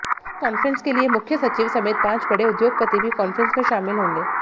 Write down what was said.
इस कांफ्रेंस के लिए मुख्य सचिव समेत पांच बड़े उद्योगपति भी कांफ्रेंस में शामिल होंगे